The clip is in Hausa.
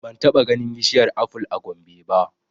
Ban taɓa ganin bishiyar aful a Gombe ba